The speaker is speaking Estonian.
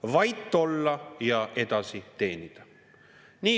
Vait olla ja edasi teenida.